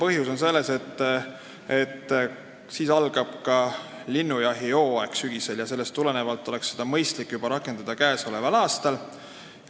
Põhjus on selles, et sügisel algab linnujahi hooaeg ja sellest tulenevalt oleks mõistlik seda seadust rakendada juba käesoleval aastal.